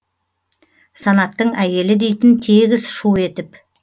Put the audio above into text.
санаттың әйелі дейтін тегіс шу етіп